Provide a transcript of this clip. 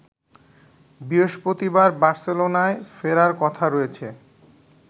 বৃহস্পতিবার বার্সেলোনায় ফেরার কথা রয়েছে